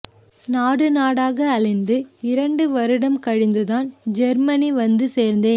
நாடு நாடக அலைந்து இரண்டு வருடம் கழிந்துதான் ஜெர்மனி வந்து சேர்ந்தேன்